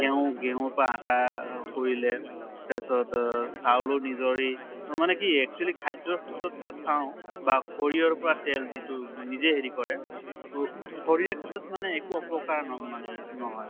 গেঁহু গেঁহুৰ পা আটা কৰিলে তাছত অহ চাউলো নজৰে মানে কি actually খাদ্য়ৰ ক্ষেত্ৰত তাত চাওঁ বা সৰিয়হৰ পৰা তেল যিটো নিজে হেৰি কৰা ত শৰীৰৰ ক্ষেত্ৰত মানে একো অপকাৰ ন মানে নহয়।